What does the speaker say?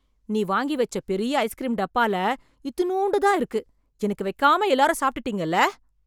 நீ வாங்கி வெச்ச பெரிய ஐஸ்க்ரீம் டப்பால, இத்துணூண்டுதான் இருக்கு... எனக்கு வைக்காம எல்லாரும் சாப்ட்டுட்டீங்கல்ல...